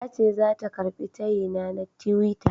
Tace zata karɓi tayina na tiwita.